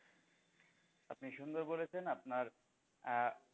আপনি সুন্দর বলেছেন আপনার আহ